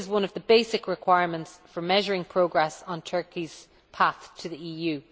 This is one of the basic requirements for measuring progress on Turkey's path to the EU.